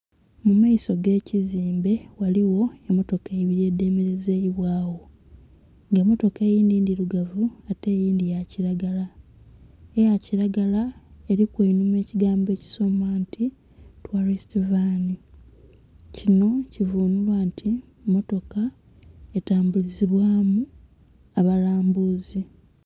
Mumaiso ge kizimbe, ghaligho emotoka ibiri edhe melezeibwagho nga emotoka eyindhi ndhirugavu ate eyindhi ya kilagala, eya kilagala eriku einhuma ekigambo ekisoma nti 'tourist van' kinho kivunhulwa nti motoka etabulizibwamu abalambuzi.